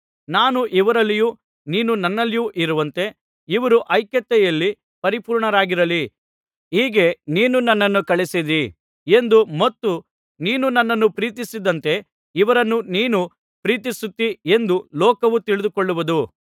ನಾನು ಇವರಲ್ಲಿಯೂ ನೀನು ನನ್ನಲ್ಲಿಯೂ ಇರುವಂತೆ ಇವರೂ ಐಕ್ಯತೆಯಲ್ಲಿ ಪರಿಪೂರ್ಣರಾಗಿರಲಿ ಹೀಗೆ ನೀನು ನನ್ನನ್ನು ಕಳುಹಿಸಿದ್ದೀ ಎಂದೂ ಮತ್ತು ನೀನು ನನ್ನನ್ನು ಪ್ರೀತಿಸಿದಂತೆ ಇವರನ್ನೂ ನೀನು ಪ್ರೀತಿಸುತ್ತೀ ಎಂದು ಲೋಕವು ತಿಳಿದುಕೊಳ್ಳುವುದು